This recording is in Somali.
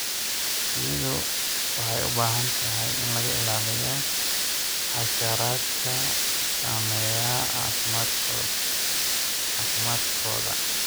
Shinnidu waxay u baahan tahay in laga ilaaliyo xasharaadka saameeya caafimaadkooda.